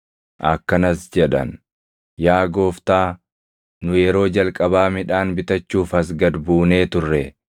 Akkanas jedhan; “Yaa gooftaa, nu yeroo jalqabaa midhaan bitachuuf as gad buunee turre.